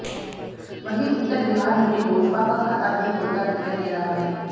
वहीं उत्तर बिहार में भी लोजपा का खाता नहीं खुलता दिखाई दे रहा है